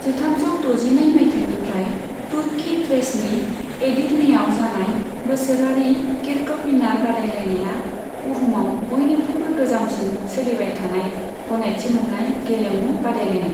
जिथामजौ द'जिनै मायथाइनिफ्राय तुर्की थ्रेसनि एडिर्नेयाव जानाय बोसोरारि किर्कपिनार बादायलायनाया, बुहुमाव बयनिख्रुयबो गोजामसिन सोलिबाय थानाय, गनायथि मोन्नाय गेलेमु बादायलायनाय।